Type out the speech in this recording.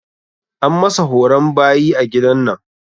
An masa horon bayi a gidan nan.